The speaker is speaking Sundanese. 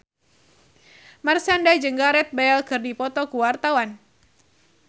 Marshanda jeung Gareth Bale keur dipoto ku wartawan